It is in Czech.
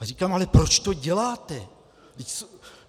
A říkám: Ale proč to děláte?